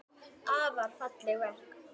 Afar falleg verk.